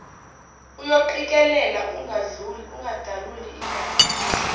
uyoqikelela ukungadaluli igame